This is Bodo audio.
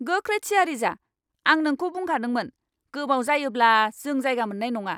गोख्रै थियारि जा! आं नोंखौ बुंखादोंमोन गोबाव जायोब्ला जों जायगा मोननाय नङा!